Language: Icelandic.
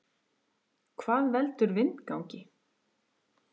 Hvað veldur vindgangi?